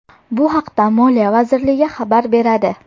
Bu haqda Moliya vazirligi xabar beradi .